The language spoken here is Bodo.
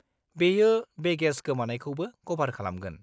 -बेयो बेगेज गोमानायखौबो कभार खालामगोन।